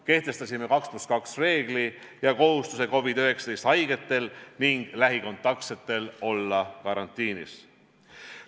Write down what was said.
Kehtestasime 2 + 2 reegli ning kohustuse COVID-19 haigetel ja lähikontaktsetel olla karantiinis.